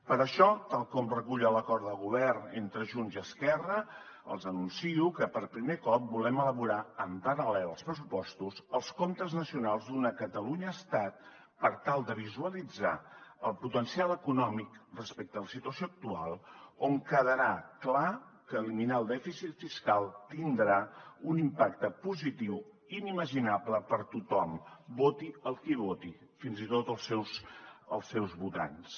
per això tal com recull l’acord de govern entre junts i esquerra els anuncio que per primer cop volem elaborar en paral·lel als pressupostos els comptes nacionals d’una catalunya estat per tal de visualitzar el potencial econòmic respecte a la situació actual on quedarà clar que eliminar el dèficit fiscal tindrà un impacte positiu inimaginable per a tothom voti el que voti fins i tot els seus votants